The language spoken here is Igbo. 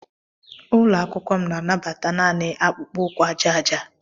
Ụlọ akwụkwọ m na-anabata naanị akpụkpọ ụkwụ aja aja.